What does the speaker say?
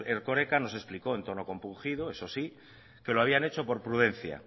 erkoreka nos explicó en tono compungido eso sí que lo habían hecho por prudencia